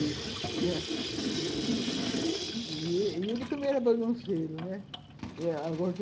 Né, e ele também era bagunceiro, né.